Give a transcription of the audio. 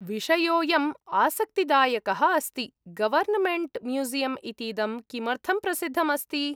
विषयोऽयम् आसक्तिदायकः अस्ति। Government museum इतीदं किमर्थं प्रसिद्धम् अस्ति?